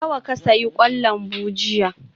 Nawa ka sayi kwan lambu jiya?